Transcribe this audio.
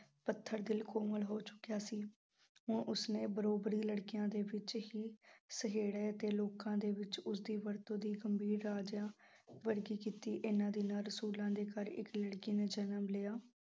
ਪੱਥਰ ਦਿਲ ਕੋਮਲ ਹੋ ਚੁੱਕਿਆ ਸੀ, ਹੁਣ ਉਸਨੇ ਲੜਕੀਆਂ ਦੇ ਵਿੱਚ ਹੀ ਅਤੇ ਲੋਕਾਂ ਦੇ ਵਿੱਚ ਉਸਦੀ ਵਰਤੋਂ ਦੀ ਗੰਭੀਰ ਵਰਗੀ ਕੀਤੀ ਇਹਨਾਂ ਦਿਨਾਂ ਰਸੂਲਾਂ ਦੇ ਘਰ ਇੱਕ ਲੜਕੀ ਨੇ ਜਨਮ ਲਿਆ।